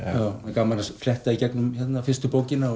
gaman að fletta í gegnum fyrstu bókina